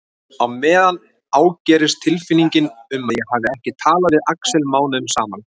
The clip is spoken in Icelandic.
Á meðan ágerist tilfinningin um að ég hafi ekki talað við Axel mánuðum saman.